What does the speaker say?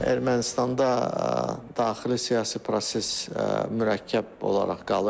Ermənistanda daxili siyasi proses mürəkkəb olaraq qalır.